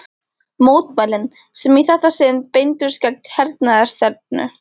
Mótmælin, sem í þetta sinn beindust gegn hernaðarstefnu